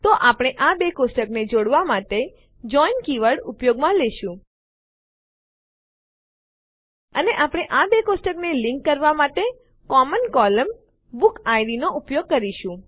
તો આપણે આ બે કોષ્ટકોને જોડવાં માટે જોઇન કીવર્ડ ઉપયોગમાં લેશું અને આપણે આ બે કોષ્ટકોને લીંક જોડાણ કરવાં માટે કોમન કોલમ સામાન્ય સ્તંભ બુકિડ નો ઉપયોગ કરીશું